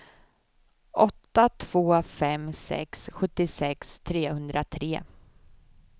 åtta två fem sex sjuttiosex trehundratre